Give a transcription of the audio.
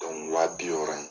wa bi wɔɔrɔ